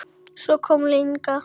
Svo kom Inga.